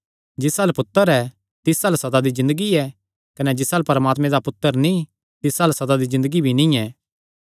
जिस अल्ल पुत्तर ऐ तिस अल्ल सदा दी ज़िन्दगी ऐ कने जिस अल्ल परमात्मे दा पुत्तर नीं तिस अल्ल सदा दी ज़िन्दगी भी नीं ऐ